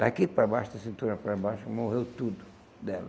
Daqui para baixo, da cintura para baixo, morreu tudo dela.